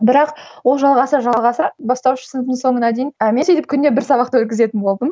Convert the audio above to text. бірақ ол жалғаса жалғаса бастауыш сыныптың соңына дейін а мен сөйтіп күніне бір сабақты өткізетін болдым